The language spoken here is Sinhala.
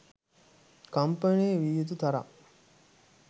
කම්පනය විය යුතු තරම්